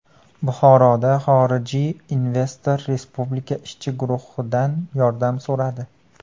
Buxoroda xorijiy investor Respublika ishchi guruhidan yordam so‘radi.